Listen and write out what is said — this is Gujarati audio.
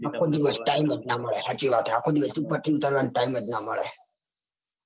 આખો દિવસ time જ ના મલે. હસચિ વાત છે આખો દિવસ time જ ના મલે